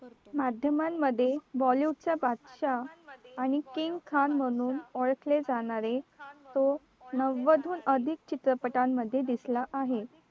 माध्यमांमध्ये bollywood चा बादशाह आणि king khan म्हणून ओळखले जाणारे तो नव्वद अधिक चित्रपटांमध्ये दिसला आहे